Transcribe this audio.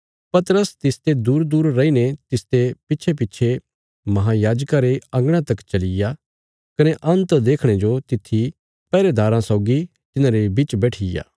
पतरस तिसते दूरदूर रैईने तिसते पिच्छेपिच्छे महायाजका रे अंगणा तक चलीया कने अन्त देखणे जो तित्थी पैहरेदाराँ सौगी तिन्हांरे बिच बैठीया